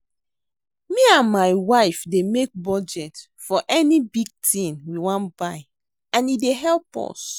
Me and my wife dey make budget for any big thing we wan buy and e dey help us.